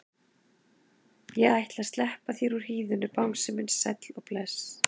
Ég ætla að sleppa þér úr hýðinu bangsi minn sæll og bless.